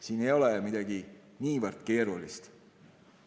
Siin ei ole midagi niivõrd keerulist.